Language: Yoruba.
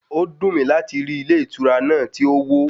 Ó dùn mí láti rí ilé ìtura náà tí ó wó.